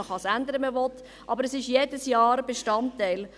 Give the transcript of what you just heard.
man kann es ändern, wenn man will, aber es ist jedes Jahr ein Bestandteil.